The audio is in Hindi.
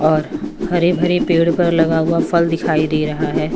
और हरे भरे पेड़ पर लगा हुआ फल दिखाई दे रहा है।